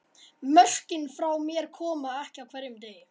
Mörkin frá mér koma ekki á hverjum degi.